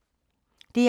DR2